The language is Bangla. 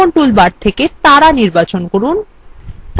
অঙ্কন toolbar থেকে তারা নির্বাচন করুন